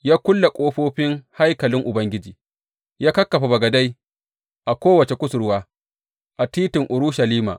Ya kulle ƙofofin haikalin Ubangiji ya kakkafa bagadai a kowace kusurwa a titin Urushalima.